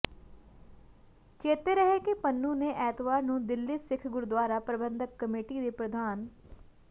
ਚੇਤੇ ਰਹੇ ਕਿ ਪਨੂੰ ਨੇ ਐਤਵਾਰ ਨੂੰ ਦਿੱਲੀ ਸਿੱਖ ਗੁਰਦੁਆਰਾ ਪ੍ਰਬੰਧਕ ਕਮੇਟੀ ਦੇ ਪ੍ਰਧਾਨ